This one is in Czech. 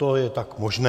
To je tak možné.